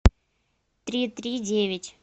три три девять